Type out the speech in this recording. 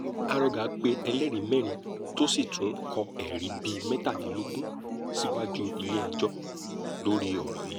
arọgà pe ẹlẹ́rìí mẹ́rin tó sì tún kọ́ ẹ̀rí bíi mẹ́tàdínlógún síwájú ilé-ẹjọ́ lórí ọ̀rọ̀ yìí